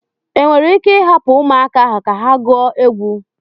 Enwere ike ịhapụ ụmụaka ahụ ka ha gụọ egwu.